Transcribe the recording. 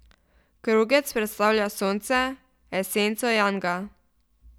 Krogec predstavlja sonce, esenco janga.